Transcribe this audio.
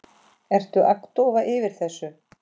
Ertu agndofa yfir þessu?